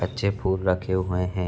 अच्छे फूल रखे हुए हैं ।